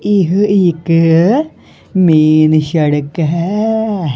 ਇਹ ਇੱਕ ਮੇਨ ਸ਼ੜਕ ਹੈ।